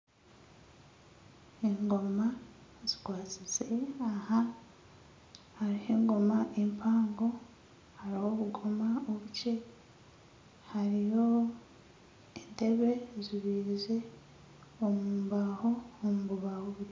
Engoma zikwasize aha, hariho engoma empango hariho obugoma obukye. Hariho entebe ezibairize omu mbaho omu bubaho bukye